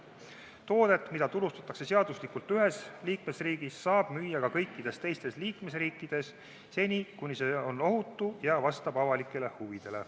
Toodet, mida turustatakse seaduslikult ühes liikmesriigis, saab müüa ka kõikides teistes liikmesriikides, seni kuni see on ohutu ja vastab avalikele huvidele.